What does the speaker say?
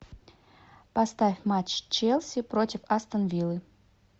поставь матч челси против астон виллы